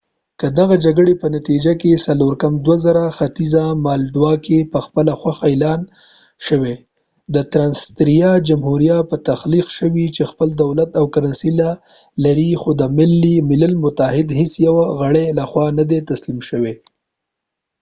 1994 کې دغه جګړې په نتیجه کې ختیځه مالډووا کې پخپله خوښه اعلان شوی د ټرانسنسټریا جمهوریه تخلیق شو چې خپل دولت او کرنسي لري خو د ملل متحد هیڅ یوه غړي لخوا نه ده تسلیم شوی